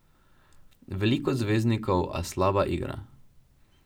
Veliko zvezdnikov, a slaba igra.